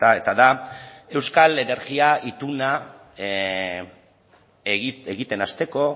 eta da euskal energia ituna egiten hasteko